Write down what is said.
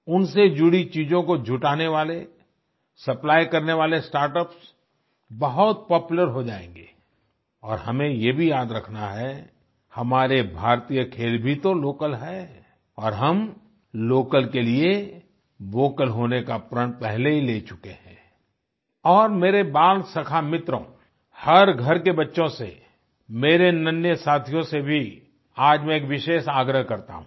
उनसे जुड़ी चीजों को जुटाने वाले सप्लाई करने वाले स्टार्टअप्स बहुत पॉपुलर हो जाएँगे और हमें ये भी याद रखना है हमारे भारतीय खेल भी तो लोकल हैं और हम लोकल के लिए वोकल होने का प्रण पहले ही ले चुके हैं और मेरे बालसखा मित्रों हर घर के बच्चों से मेरे नन्हें साथियों से भी आज मैं एक विशेष आग्रह करता हूँ